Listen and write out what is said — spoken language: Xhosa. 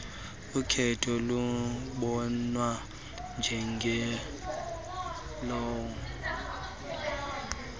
ukhenketho lubonwa njengelona